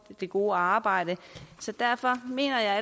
det gode arbejde så derfor mener jeg